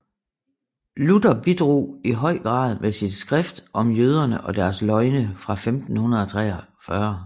Luther bidrog i høj grad med sit skrift Om jøderne og deres løgne fra 1543